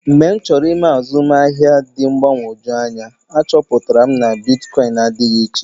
Mgbe m chọrọ ịme azụmahịa dị mgbagwoju anya, achọpụtara m na bitkọịn adịghị iche.